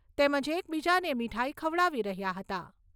તેમજ એકબીજાને મીઠાઈ ખવડાવી રહ્યા હતા.